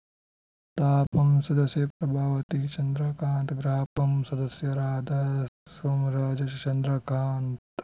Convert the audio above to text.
ತಾಪಂ ಸದಸ್ಯೆ ಪ್ರಭಾವತಿ ಚಂದ್ರಕಾಂತ್‌ ಗ್ರಾಪಂ ಸದಸ್ಯರಾದ ಸೋಮರಾಜ್‌ ಚಂದ್ರಕಾಂತ್‌